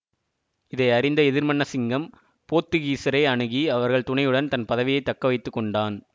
இதை அறிந்த எதிர்மன்னசிங்கம் போத்துக்கீசரை அணுகி அவர்கள் துணையுடன் தன் பதவியை தக்க வைத்துக்கொண்டான்